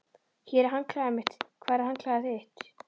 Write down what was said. Hér er handklæðið mitt. Hvar er handklæðið þitt?